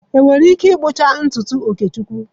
Ị nwere ike ịkpụcha ntutu Okechukwu?